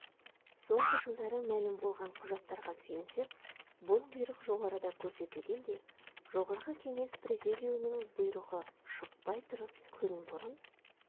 соңғы жылдары мәлім болған құжаттарға сүйенсек бұл бұйрық жоғарыда көрсетілгендей жоғарғы кеңес президиумының бұйрығы шықпай тұрып күн бұрын